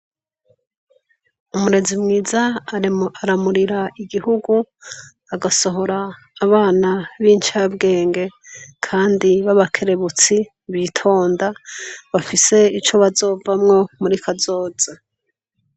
Umurezi aramurira igihugu agasohora abana b'incabwenge kandi b'abakerebutsi bitonda, bafise ico bazovamwo muri kazoza.